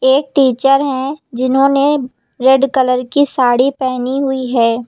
एक टीचर हैं जिन्होंने रेड कलर की साड़ी पहनी हुई है।